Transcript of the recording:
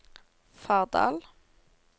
Fardal